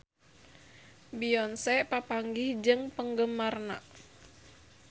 Beyonce papanggih jeung penggemarna